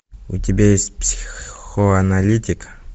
у тебя есть психоаналитик